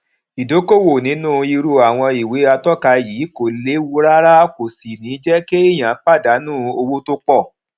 ìdókòwò nínú irú àwọn ìwé atóka yìí kò léwu rárá kò sì ní jé kéèyàn pàdánù owó tó pò